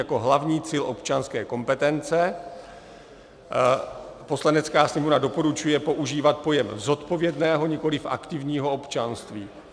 Jako hlavní cíl občanské kompetence Poslanecká sněmovna doporučuje používat pojem zodpovědného, nikoliv aktivního občanství.